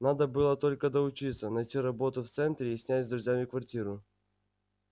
надо было только доучиться найти работу в центре и снять с друзьями квартиру